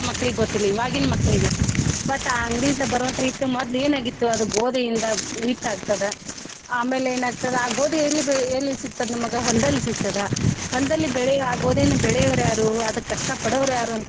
ಆ ಮಕ್ಳಿಗೆ ಗೊತ್ತಿರ್ಲಿಲ್ಲ ಈವಾಗಿನ ಮಕ್ಳಿಗೆ but ಆ ಅಂಗಡಿಯಿಂದ ಬರೊವಂತ ಹಿಟ್ಟು ಮೊದ್ಲ ಏನ ಆಗಿತ್ತು ಅದ ಗೋದಿಯಿಂದ ಹಿಟ್ಟ ಆಗ್ತದ ಆಮೇಲ ಏನ ಆಗ್ತದ ಆ ಗೋದಿ ಎಲ್ಲಿ ಬೆಳಿ ಎಲ್ಲಿ ಸಿಗ್ತದ ನಿಮ್ಗ ಹೊಲದಲ್ಲಿ ಸಿಗ್ತದ ಹೊಲದಲ್ಲಿ ಬೆಳೆ ಆ ಗೋದಿಯನ್ನ ಬೆಳೆಯೋವ್ರ ಯಾರು ಅದಕ್ಕ ಕಷ್ಟಾ ಪಡೋವ್ರ ಯಾರು ಅಂತ.